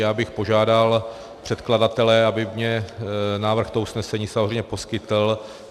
Já bych požádal předkladatele, aby mně návrh toho usnesení samozřejmě poskytl.